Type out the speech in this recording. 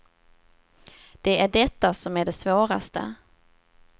Det är detta som är det svåraste.